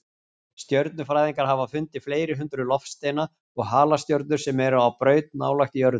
Stjörnufræðingar hafa fundið fleiri hundruð loftsteina og halastjörnur sem eru á braut nálægt jörðu.